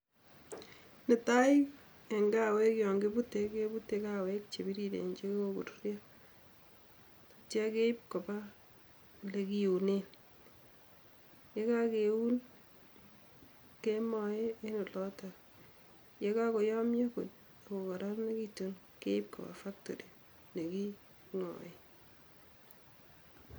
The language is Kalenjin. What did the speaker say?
Netai en kaweek yon kibute kebute kaweek che biriren che kokoruryo, atya keib koba lekiunen, yekakeun kemae en olotok ,yekakoyomyo kokororonekitun keib koba factory ne kingoen.